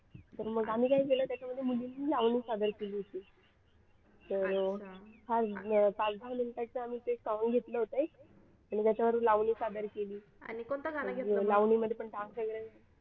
तर मग आम्ही काय केलं त्याच्यामध्ये मुलींनी लावणी सादर केली होती तर फार पाच दहा minute चे आम्ही ते songs घेतले होते आणि त्याच्यावर लावणी सादर केली लावणी मध्ये पण dance वगैरे